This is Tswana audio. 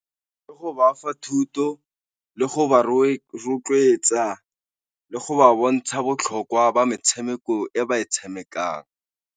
Ka go ba fa thuto, le go ba rotloetsa, le go ba bontsha botlhokwa ba metshameko e ba e tshamekang.